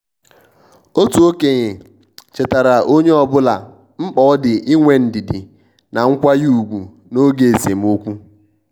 otu okenye chetaara onye ọbụla mkpa ọ dị inwe ndidi na nkwanye ùgwù n' oge esemokwu.